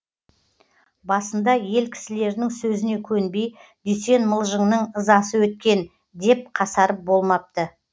басында ел кісілерінің сөзіне көнбей дүйсен мылжыңның ызасы өткен деп қасарып болмапты